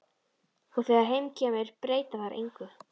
Og þegar heim kemur breyta þær engu.